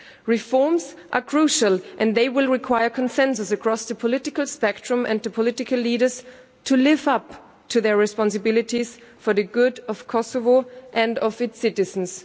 Reforms are crucial and they will require consensus across the political spectrum, and the political leaders to live up to their responsibilities for the good of Kosovo and of its citizens.